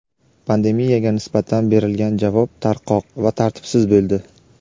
pandemiyaga nisbatan berilgan javob tarqoq va tartibsiz bo‘ldi.